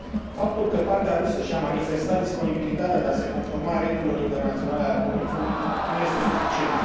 Faptul că partea rusă și a manifestat disponibilitatea de a se conforma regulilor internaționale ale comerțului nu este suficient.